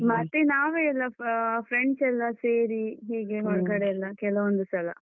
ಮತ್ತೆ ನಾವೇ ಎಲ್ಲ ಅಹ್ friends ಎಲ್ಲ ಸೇರಿ ಹೀಗೆ ಕೆಲವೊಂದು ಸಲ.